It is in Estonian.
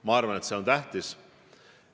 Ma arvan, et see on tähtis.